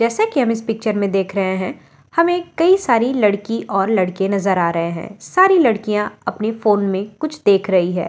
जैसे कि हम इस पिक्चर में देख रहे हैं हमें कई सारी लड़की और लड़के नजर आ रहे हैं सारी लड़कियां अपने फोन में कुछ देख रही हैं।